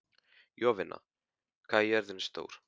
Jovina, hvað er jörðin stór?